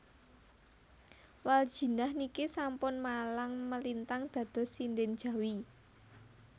Waldjinah niki sampun malang melintang dados sinden Jawi